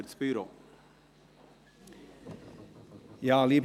als Sprecher des Büros das Wort.